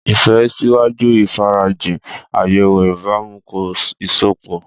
Ìfẹ́ ṣíwájú ìfarajìn, àyẹ̀wò ìbámu, kọ́ ìsopọ̀.